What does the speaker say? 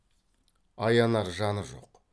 аянар жаны жоқ